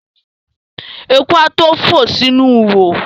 Eku a tó fò sínú ihò.